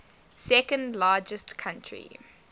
second largest country